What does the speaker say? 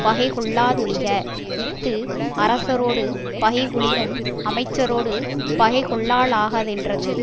பகை கொள்ளாதொழிக இஃது அரசரோடு பகைகொளினும் அமைச்சரோடு பகை கொள்ளலாகாதென்றது